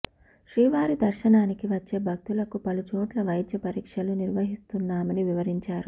శ్రీవారి దర్శనానికి వచ్చే భక్తులకు పలుచోట్ల వైద్య పరీక్షలు నిర్వహిస్తున్నామని వివరించారు